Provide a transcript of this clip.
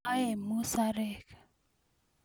aaee musarek